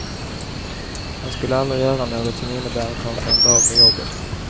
Han skulle aldrig göra något som innebär att han kan bli av med jobbet.